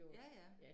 Ja ja